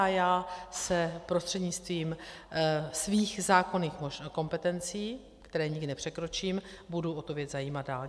A já se prostřednictvím svých zákonných kompetencí, které nikdy nepřekročím, budu o tu věc zajímat dál.